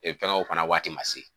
Feere kɛnɛw fana waati ma se.